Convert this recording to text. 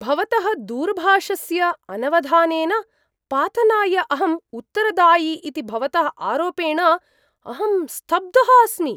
भवतः दूरभाषस्य अनवधानेन पातनाय अहं उत्तरदायी इति भवतः आरोपेण अहं स्तब्धः अस्मि।